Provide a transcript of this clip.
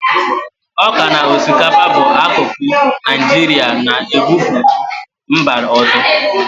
Ọka na osikapa bu akụkụ Naijirịa na-ebupu mba ọzọ.